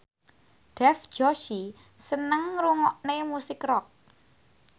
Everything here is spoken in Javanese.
Dev Joshi seneng ngrungokne musik rock